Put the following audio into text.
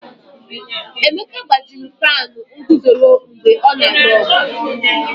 Emeka gbajiri fanụ nguzoro mgbe ọ na-alụ ọgụ.